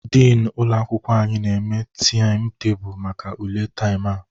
Dini ụlọ akwụkwọ anyị na-eme taịmụ tebulu maka ule taam a